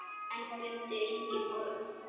En fundu engin horn.